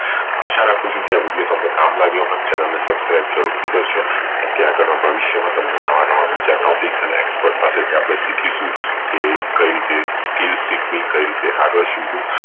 આશા રાખું ચુ કે આ video તમને કામ લાગે Channel ને Subscribe જરૂરથી કરશો કેમ કે આગળ ના ભવિષ્ય માં તમને બીજા નવા નવા topic અને expert પાસેથી શીખીશું એ કઈ રીતે skill શીખવી કઈ રીતે આગળ શીખવું